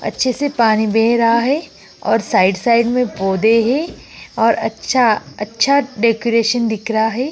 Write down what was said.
अच्छे से पानी बह रहा है और साइड-साइड में पौधें हैं और अच्छा अच्छा डेकोरेशन दिख रहा है।